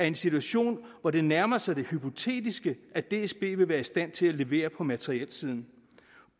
en situation hvor det nærmer sig det hypotetiske at dsb vil være i stand til at levere på materielsiden